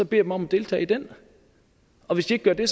dem om at deltage i den og hvis de ikke gør det